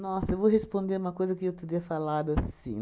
eu vou responder uma coisa que eu teria falado assim.